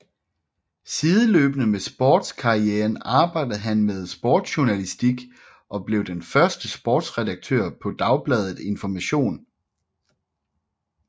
Sideløbende med sportskarrieren arbejdede han med sportsjournalistik og blev den første sportsredaktør på Dagbladet Information